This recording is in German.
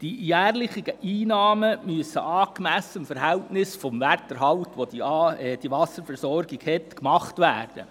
Die jährlichen Einlagen müssen in einem angemessenen Verhältnis zum Wiederbeschaffungswert vorgenommen werden.